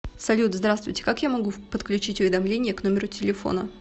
салют здравствуйте как я могу подключить уведомления к номеру телефона